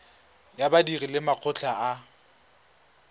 ya badiri le makgotla a